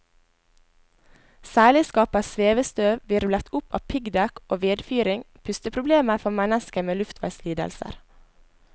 Særlig skaper svevestøv, hvirvlet opp av piggdekk og vedfyring, pusteproblemer for mennesker med luftveislidelser.